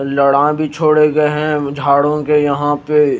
लड़ा भी छोड़े गए हैं झाड़ू के यहां पे।